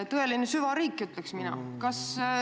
Tõeline süvariik, ütleks mina!